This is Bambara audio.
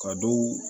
Ka dɔw